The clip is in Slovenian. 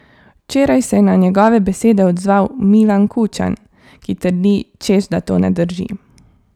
Včeraj se je na njegove besede odzval Milan Kučan, ki trdi, češ da to ne drži.